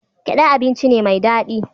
Gyaɗa abinci ne mai daɗi.